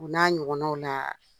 U n'a ɲɔgɔnanw la.